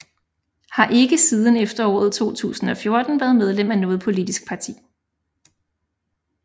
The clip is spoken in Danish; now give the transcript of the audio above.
Har ikke siden efteråret 2014 været medlem af noget politisk parti